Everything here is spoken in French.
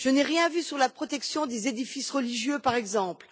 Je n'ai rien vu sur la protection des édifices religieux, par exemple.